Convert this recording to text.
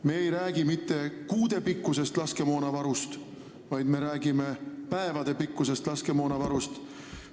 Me ei räägi mitte kuude pikkusest laskemoonavarust, vaid me räägime päevade pikkusest laskemoonavarust.